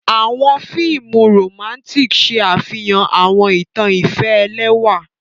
Awọn fiimu Romantic ṣe afihan awọn itan ifẹ ẹlẹwa.